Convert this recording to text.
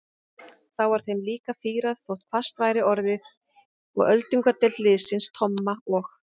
Þá var þeim líka fýrað þótt hvasst væri orðið og öldungadeild liðsins að Tomma og